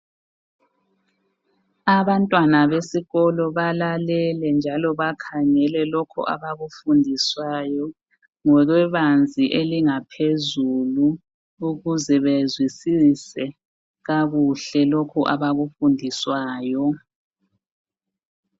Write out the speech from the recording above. Abantwana besikolo balalele njalo bakhangele lokho abakufundiswayo ngokwebanzi elingaphezulu ukuze bezwisise kakuhle lokhu abakufundiswayo.